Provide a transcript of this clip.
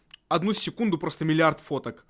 одну секунду просто миллиард фоток